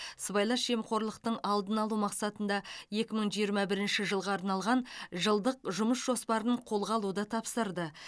сыбайлас жемқорлықтың алдын алу мақсатында екі мың жиырма бірінші жылға арналған жылдық жұмыс жоспарын қолға алуды тапсырды